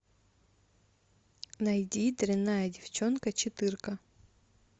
найди дрянная девчонка четырка